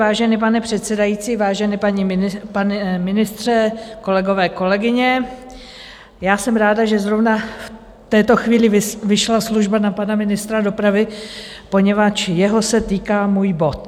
Vážený pane předsedající, vážený pane ministře, kolegové, kolegyně, já jsem ráda, že zrovna v této chvíli vyšla služba na pana ministra dopravy, poněvadž jeho se týká můj bod.